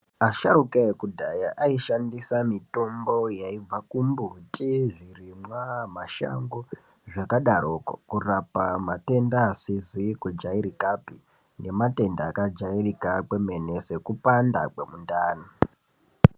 Asharuka ekudhaya aishandisa mitombo yaibva kumbiti , zvirimwa , mashango zvakadaroko kurapa matenda asizi kujairikapi ngematenda akabajairika kwemene sekupanda kwemundani.